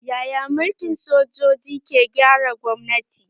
Yaya mulkin sojoji ke gyara gwamnati?